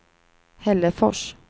Hällefors